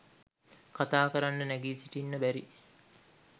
කතාකරන්න නැගී සිටින්න බැරි